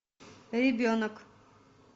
ребенок